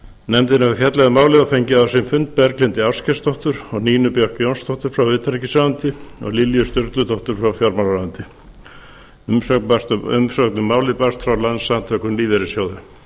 nefndin hefur fjallað um málið og fengið á sinn fund berglindi ásgeirsdóttur og nínu björk jónsdóttur frá utanríkisráðuneyti og lilju sturludóttur frá fjármálaráðuneyti umsögn um málið barst frá landssamtökum lífeyrissjóða